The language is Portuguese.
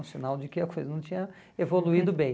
Um sinal de que a coisa não tinha evoluído bem.